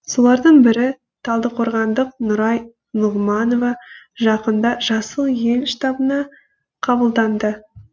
солардың бірі талдықорғандық нұрай нұғманова жақында жасыл ел штабына қабылданды